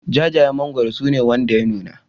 Jajayen mangwaro su ne wanda ya nuna